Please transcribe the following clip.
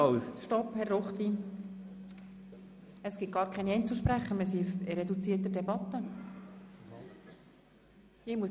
Stopp, Herr Ruchti, es gibt gar keine Einzelsprecher, weil wir eine reduzierte Debatte führen.